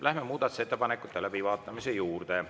Läheme muudatusettepanekute läbivaatamise juurde.